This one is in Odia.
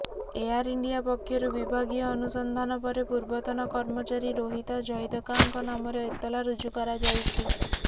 ଏଆର୍ ଇଣ୍ଡିଆ ପକ୍ଷରୁ ବିଭାଗୀୟ ଅନୁସନ୍ଧାନ ପରେ ପୂର୍ବତନ କର୍ମଚାରୀ ରୋହିତା ଜୈଦକାଙ୍କ ନାମରେ ଏତଲା ରୁଜୁ କରାଯାଇଛି